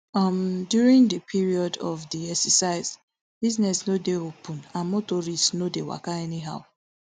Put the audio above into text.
um during di period of di exercise business no dey open and motorists no dey waka anyhow